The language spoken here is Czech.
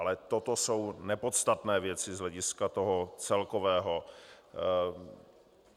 Ale toto jsou nepodstatné věci z hlediska toho celkového.